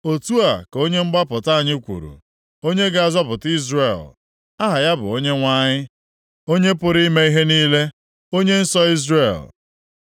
Otu a ka Onye mgbapụta anyị kwuru, Onye ga-azọpụta Izrel. Aha ya bụ Onyenwe anyị, Onye pụrụ ime ihe niile, Onye nsọ Izrel.